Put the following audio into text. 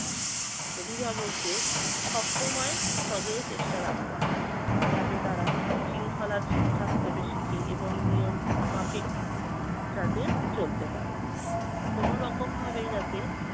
অভিভাবকদের সবসময় সজোর চেষ্টা রাখতে হবে, যাতে তারা শৃঙ্খলা ঠিকঠাকভাবে শেখে এবং নিয়ম মাফিক যাতে চলতে পারে। কোন রকম ভাবেই যাতে